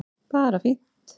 Bara fínt